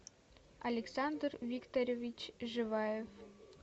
александр викторович живаев